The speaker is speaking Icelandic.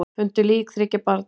Fundu lík þriggja barna